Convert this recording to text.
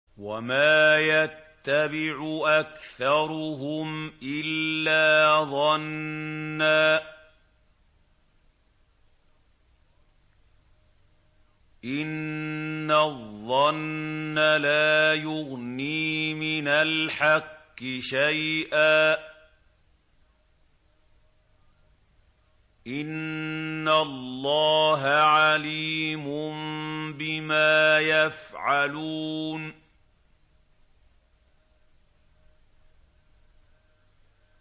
وَمَا يَتَّبِعُ أَكْثَرُهُمْ إِلَّا ظَنًّا ۚ إِنَّ الظَّنَّ لَا يُغْنِي مِنَ الْحَقِّ شَيْئًا ۚ إِنَّ اللَّهَ عَلِيمٌ بِمَا يَفْعَلُونَ